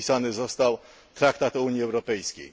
podpisany został Traktat o Unii Europejskiej.